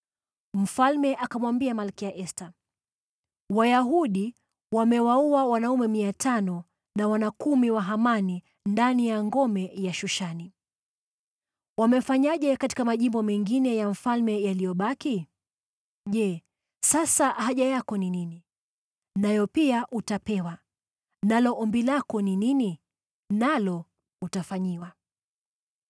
Mfalme akamwambia Malkia Esta, “Wayahudi wamewaua wanaume 500 na wana kumi wa Hamani ndani ya ngome ya Shushani. Wamefanyaje katika majimbo mengine ya mfalme yaliyobaki? Je, sasa haja yako ni nini? Nayo pia utapewa. Nalo ombi lako ni nini? Nalo utafanyiwa.”